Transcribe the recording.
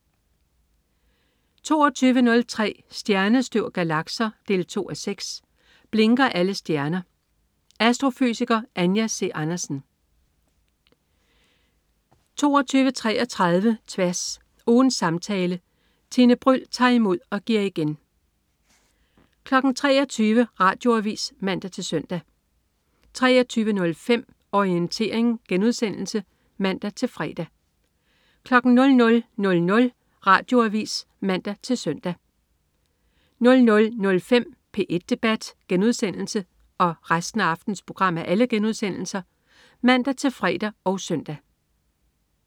22.03 Stjernestøv og galakser 2:6. Blinker alle stjerner? Astrofysiker Anja C. Andersen 22.33 Tværs. Ugens samtale. Tine Bryld tager imod og giver igen 23.00 Radioavis (man-søn) 23.05 Orientering* (man-fre) 00.00 Radioavis (man-søn) 00.05 P1 debat* (man-fre og søn)